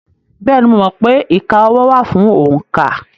Bẹ́ẹ̀ni, mo mọ̀ pé ìka ọwọ́ wà fún òǹkà.